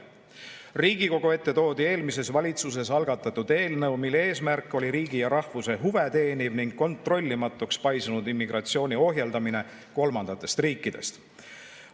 Riigikogu ette toodi eelmises valitsuses algatatud eelnõu, mille eesmärk oli riigi ja rahvuse huve teeniv ning kontrollimatuks paisunud immigratsiooni ohjeldamine kolmandatest riikidest.